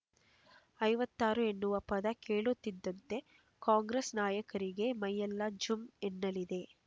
ಐವತ್ತಾರು ಎನ್ನುವ ಪದ ಕೇಳುತ್ತಿದ್ದಂತೆ ಕಾಂಗ್ರೆಸ್ ನಾಯಕರಿಗೆ ಮೈಯೆಲ್ಲಾ ಜುಂ ಎನ್ನಲಿದೆ